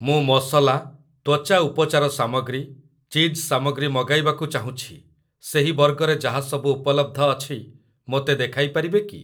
ମୁଁ ମସଲା, ତ୍ଵଚା ଉପଚାର ସାମଗ୍ରୀ, ଚିଜ୍ ସାମଗ୍ରୀ ମଗାଇବାକୁ ଚାହୁଁଛି, ସେହି ବର୍ଗରେ ଯାହା ସବୁ ଉପଲବ୍ଧ ଅଛି ମୋତେ ଦେଖାଇପାରିବେ କି?